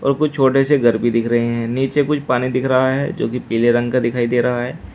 कुछ छोटे से घर भी दिख रहे हैं नीचे कुछ पानी दिख रहा है जो की पीले रंग का दिखाई दे रहा है।